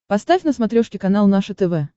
поставь на смотрешке канал наше тв